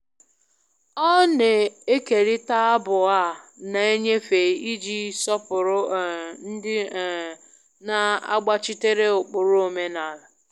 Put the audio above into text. Ọ na-ekerịta abụ a na-enyefe iji sọpụrụ um ndị um na-agbachitere ụkpụrụ omenala